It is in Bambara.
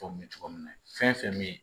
cogo min na fɛn fɛn bɛ ye